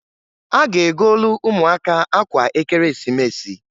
A ga-egolu umuaka akwa Ekeresimesi.